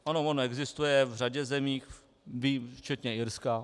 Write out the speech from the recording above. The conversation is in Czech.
Ano, on existuje v řadě zemí včetně Irska.